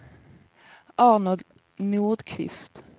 Arnold Nordqvist